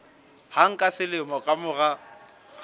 hang ka selemo ka mora